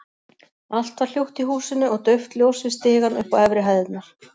Allt var hljótt í húsinu og dauft ljós við stigann upp á efri hæðirnar.